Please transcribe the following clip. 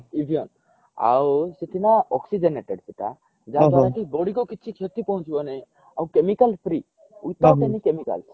ଆଉ ସେଠି ନା oxygenated ସେଇଟା ଯାହା ଦ୍ଵାରା କି body କୁ କିଛି ଖ୍ୟତି ପହଞ୍ଚିବ ନାହିଁ ଆଉ chemical free without any chemicals